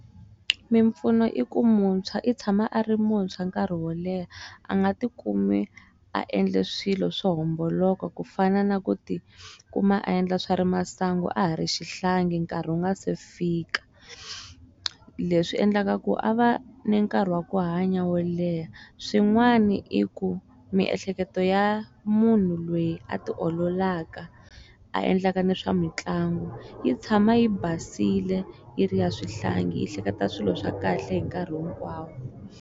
Mimpfuno i ku muntshwa i tshama a ri muntshwa nkarhi wo leha a nga ti kumi a endle swilo swo homboloka ku fana na ku ti kuma a endla swa ri masangu a ha ri xihlangi nkarhi wu nga se fika leswi endlaka ku a va ni nkarhi wa ku hanya wo leha swin'wana i ku miehleketo ya munhu loyi a ti ololaka a endlaka ni swa mitlangu yi tshama yi basile yi ri ya swihlangi yi hleketa swilo swa kahle hi nkarhi hinkwawo.